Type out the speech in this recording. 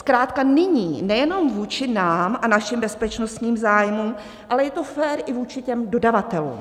Zkrátka nyní, nejenom vůči nám a našim bezpečnostním zájmům, ale je to fér i vůči těm dodavatelům.